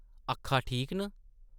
‘‘अक्खां ठीक न ?’’